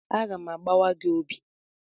Aga m agbawa gị obi!